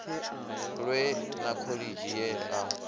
lwe na khoḽidzhi ye a